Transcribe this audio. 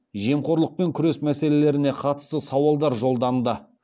жемқорлықпен күрес мәселелеріне қатысты сауалдар жолданды